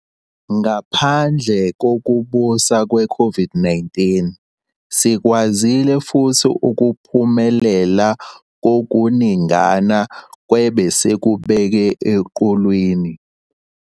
Ngaphandle kokubusa kwe-COVID-19, sikwazile futhi ukuphumelela kokuningana kwebesikubeke eqhulwini.